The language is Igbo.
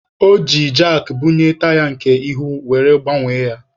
O ji jakị bunie taya nke ihu were gbanwee ya.